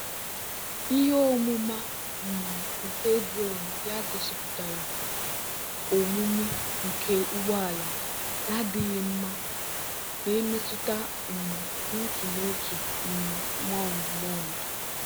ihe omuma um nke drone ya gosiputara omimi nke ugbo ala na-adighi nma na-emetuta um n'otu n'otu um mound mound.